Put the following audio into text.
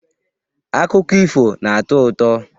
Akụkọ ifo na-atọ ụtọ